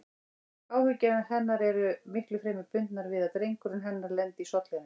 Áhyggjur hennar eru miklu fremur bundnar við að drengurinn hennar lendi í sollinum.